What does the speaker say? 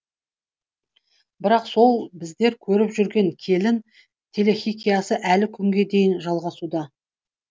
бірақ сол біздер көріп жүрген келін телехикаясы әлі күнге дейін жалғасуда